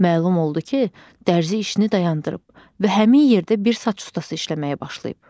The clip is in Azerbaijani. Məlum oldu ki, dərzi işini dayandırıb və həmin yerdə bir saç ustası işləməyə başlayıb.